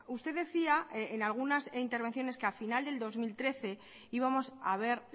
usted decía en algunas intervenciones que al final del dos mil trece íbamos a ver